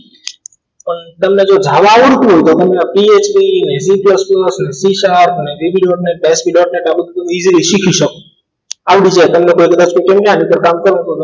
જો તમને ધારતા આવડતું હોય તો તમને PHP c plus plus java c sharp dot net hp dot easily શીખી શકો આવડી જાય તમને કોઈ કદાચ કહે તો કામ પણ